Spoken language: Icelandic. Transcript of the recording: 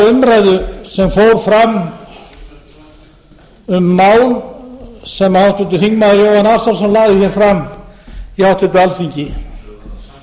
umræðu sem fór fram um mál sem háttvirtur þingmaður jóhann ársælsson lagði fram í háttvirtu alþingi það